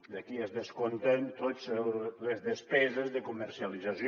d’aquí es descompten totes les despeses de comercialització